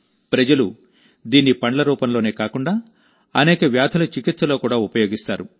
ప్రజలు దీన్ని పండ్ల రూపంలోనే కాకుండాఅనేక వ్యాధుల చికిత్సలో కూడా ఉపయోగిస్తారు